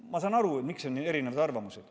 Ma saan aru, miks on erisugused arvamused.